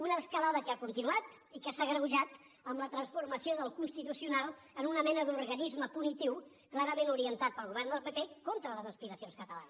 una escalada que ha continuat i que s’ha agreujat amb la transformació del constitucional en una mena d’organisme punitiu clarament orientat pel govern del pp contra les aspiracions catalanes